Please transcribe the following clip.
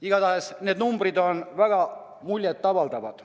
Igatahes need numbrid on väga muljet avaldavad.